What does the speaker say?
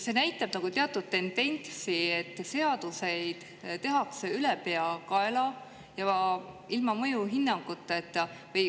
See näitab teatud tendentsi, et seaduseid tehakse ülepeakaela ja ilma mõjuhinnanguteta.